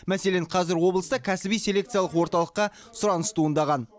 мәселен қазір облыста кәсіби селекциялық орталыққа сұраныс туындаған